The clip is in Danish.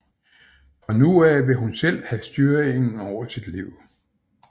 Fra nu af vil hun selv have styringen over sit liv